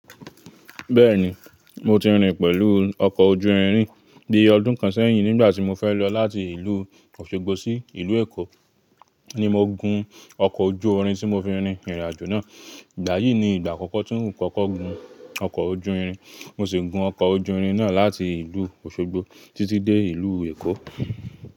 Bẹ́ẹ̀ni, mo ti rìn pẹ̀lú ọkọ̀ ojú irin bi ọdún kan sẹ́yìn, nígbà tí mo fẹ́ lọ láti ìlú Òṣogbo sí ìlú Èkó ni mo gun ọkọ̀ ojú orin tí mo fi rin ìrìnàjò náà. Ìgbà yìí ni ìgbà àkọ́kọ́ tí ń kọ́kọ́ gun ọkọ̀ ojú irin. Mo sì gun ọkọ̀ ojú irin náà láti ìlú Òṣogbo títí dé ìlú Èkó.